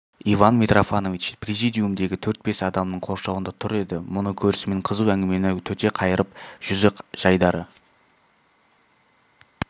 иван митрофанович президиумдегі төрт-бес адамның қоршауында тұр еді мұны көрісімен қызу әңгімені төте қайырып жүзі жайдары